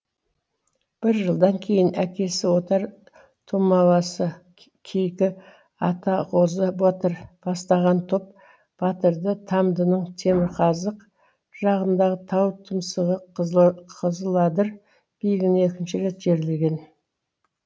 бір жылдан кейін әкесі отар тумаласы кейкі атағозы батыр бастаған топ батырды тамдының темірқазық жағындағы тау тұмсығы қызыладыр биігіне екінші рет жерлеген